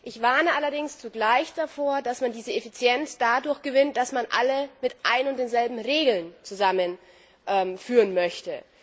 Ich warne allerdings zugleich davor, dass man diese Effizienz dadurch gewinnt, dass man alle mit ein und denselben Regeln zusammenführen möchte.